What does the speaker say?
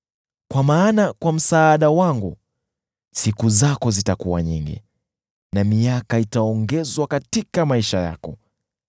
Kwa maana kwa msaada wangu siku zako zitakuwa nyingi, na miaka itaongezwa katika maisha yako.